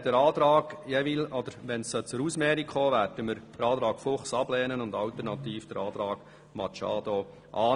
Sollte es zur Ausmehrung kommen, werden wir den Antrag Fuchs ablehnen und alternativ den Antrag Machado annehmen.